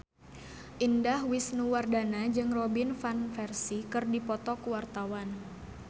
Indah Wisnuwardana jeung Robin Van Persie keur dipoto ku wartawan